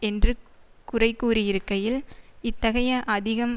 என்று குறைகூறியிருக்கையில் இத்தகைய அதிகம்